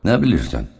Nə bilirsən?